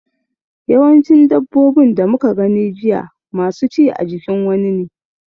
Yawancin dabbobin da muka gani jiya masu ci a jikin wani ne.